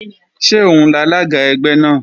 Ṣé òun lalága ẹgbẹ́ náà?